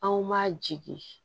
Anw ma jigi